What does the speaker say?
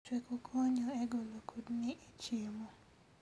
Chweko konyo e golo kudni e chiemo